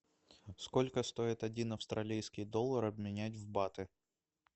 сколько стоит один австралийский доллар обменять в баты